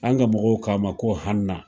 An ka mɔgɔw k'a ma ko hanna